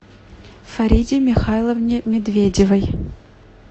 фариде михайловне медведевой